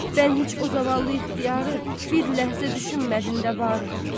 Mən heç o zavallı ixtiyarı, bir ləhzə düşünmədin də bari?